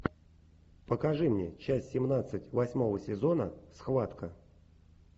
покажи мне часть семнадцать восьмого сезона схватка